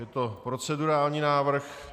Je to procedurální návrh.